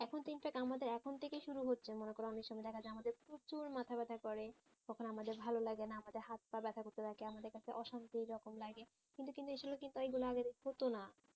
এখন আমাদের এখন থেকেই শুরু হচ্ছে মনে করো অনেক সময় দেখা যায় আমাদের প্রচুর মাথা ব্যাথা করে কখনো আমাদের ভালো লাগেনা আমাদের হাথ পা ব্যাথা করতে থাকে আমাদের কাছে অশান্তি এইরকম লাগে কিন্তু এইগুলো তাই বলে আগে কিন্তু হতোনা